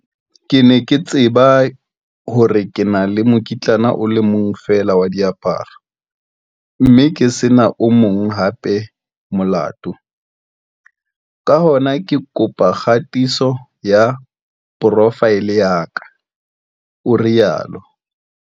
Ke ne ke tseba hore ke na le mokitlane o le mong feela wa diaparo, mme ke se na o mong hape molato, ka hona ka kopa kgatiso ya profaele ya ka, o rialo.